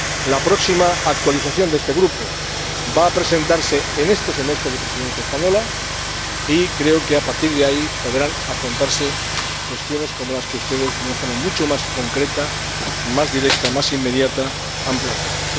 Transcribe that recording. La próxima actualización de este Grupo va a presentarse en este semestre de Presidencia española y creo que, a partir de ahí, podrán afrontarse cuestiones como las que ustedes, de una forma mucho más concreta, más directa y más inmediata, han planteado.